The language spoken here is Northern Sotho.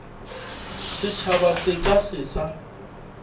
setšhaba se ka se sa